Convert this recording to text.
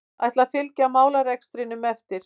Ætla að fylgja málarekstrinum eftir